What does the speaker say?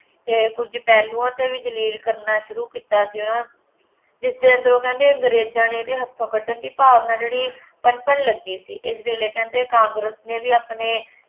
ਅਤੇ ਕੁੱਝ ਪਹਿਲੂਆਂ 'ਤੇ ਵੀ ਜ਼ਲੀਲ ਕਰਨਾ ਸ਼ੁਰੂ ਕੀਤਾ ਸੀ ਹੈ ਨਾ, ਜਿਸ 'ਤੇ ਅੰਦਰੋਂ ਕਹਿੰਦੇ ਅੰਗਰੇਜ਼ਾਂ ਨੇ ਇਹਦੇ ਹੱਥੋਂ ਕੱਢਣ ਦੀ ਭਾਵਨਾ ਜਿਹੜੀ ਲੱਗੀ ਸੀ, ਇਸ ਵੇਲੇ ਕਹਿੰਦੇ ਕਾਂਗਰਸ ਨੇ ਵੀ ਆਪਣੇ